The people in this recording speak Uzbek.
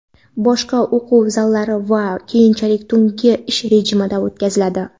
boshqa o‘quv zallari ham keyinchalik tungi ish rejimiga o‘tkaziladi.